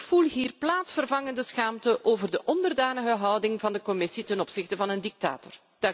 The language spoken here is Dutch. Ik voel hier plaatsvervangende schaamte over de onderdanige houding van de Commissie ten opzichte van een dictator.